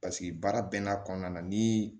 Paseke baara bɛɛ n'a kɔnɔna na ni